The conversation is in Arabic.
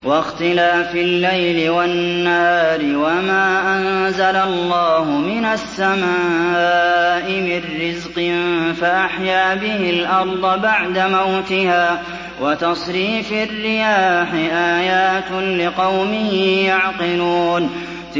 وَاخْتِلَافِ اللَّيْلِ وَالنَّهَارِ وَمَا أَنزَلَ اللَّهُ مِنَ السَّمَاءِ مِن رِّزْقٍ فَأَحْيَا بِهِ الْأَرْضَ بَعْدَ مَوْتِهَا وَتَصْرِيفِ الرِّيَاحِ آيَاتٌ لِّقَوْمٍ يَعْقِلُونَ